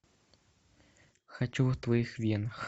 хочу в твоих венах